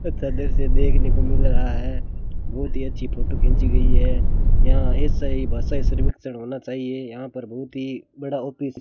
अच्छा दृश्य देखने को मिल रहा है बहोत ही अच्छी फोटो खींची गई है यहां ऐसा ही बसाइ सर्विकचर होना चाहिए यहां पर बहुत ही बड़ा ऑफिस --